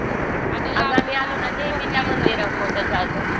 खूप आणि लांबून लांबून लोकं येतात.